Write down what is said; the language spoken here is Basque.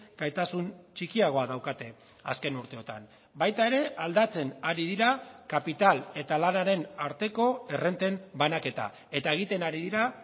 gaitasun txikiagoa daukate azken urteotan baita ere aldatzen ari dira kapital eta lanaren arteko errenten banaketa eta egiten ari dira